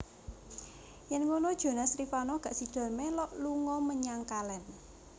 Yen ngunu Jonas Rivanno gak sido melok lunga menyang kalen